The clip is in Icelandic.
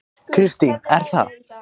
Kristín: Er það?